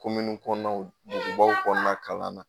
Kominin kɔnɔnaw dugubaw kɔnɔna kalan na.